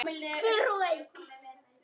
Hver og ein.